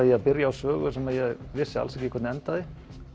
ég að byrja á sögu sem ég vissi alls ekki hvernig endaði